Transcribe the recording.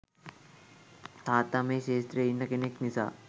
තාත්තා මේ ක්‍ෂේත්‍රයේ ඉන්න කෙනෙක් නිසා